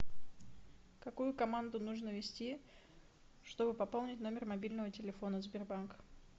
какую команду нужно ввести чтобы пополнить номер мобильного телефона сбербанк